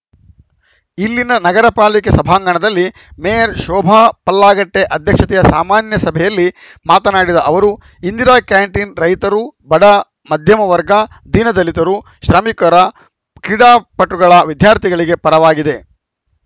ಇಲ್ಲಿನ ನಗರ ಪಾಲಿಕೆ ಸಭಾಂಗಣದಲ್ಲಿ ಮೇಯರ್‌ ಶೋಭಾ ಪಲ್ಲಾಗಟ್ಟೆಅಧ್ಯಕ್ಷತೆಯ ಸಾಮಾನ್ಯ ಸಭೆಯಲ್ಲಿ ಮಾತನಾಡಿದ ಅವರು ಇಂದಿರಾ ಕ್ಯಾಂಟೀನ್‌ ರೈತರು ಬಡ ಮಧ್ಯಮ ವರ್ಗ ದೀನ ದಲಿತರು ಶ್ರಮಿಕರ ಕ್ರೀಡಾಪಟುಗಳ ವಿದ್ಯಾರ್ಥಿಗಳಿಗೆ ವರವಾಗಿದೆ